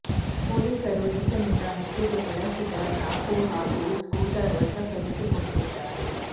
ಪೊಲೀಸರು ಈತನಿಂದ ಹತ್ಯೆಗೆ ಬಳಸಿದ ಚಾಕು ಹಾಗೂ ಸ್ಕೂಟರ್ ವಶಪಡಿಸಿಕೊಂಡಿದ್ದಾರೆ